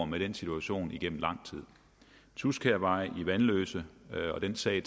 med den situation igennem lang tid tudskærvej i vanløse er jo en sag